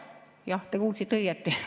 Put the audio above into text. Jah, te kuulsite õigesti.